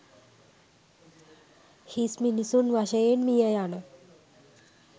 හිස් මිනිසුන් වශයෙන් මිය යන